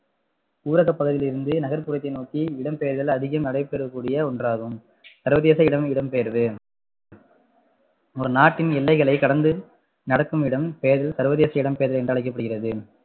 ஊரகப்பகுதியில் இருந்து நகர்ப்புறத்தை நோக்கி இடம்பெயர்தல் அதிகம் நடைபெறக்கூடிய ஒன்றாகும் சர்வதேச இடம் இடம்பெயர்வு ஒரு நாட்டின் எல்லைகளை கடந்து நடக்கும் இடம்பெயர்வு சர்வதேச இடம்பெயர்வு என்று அழைக்கப்படுகிறது